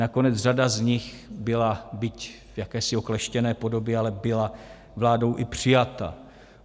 Nakonec řada z nich byla, byť v jakési okleštěné podobě, ale byla vládou i přijata.